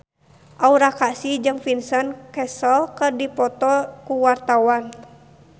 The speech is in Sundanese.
Aura Kasih jeung Vincent Cassel keur dipoto ku wartawan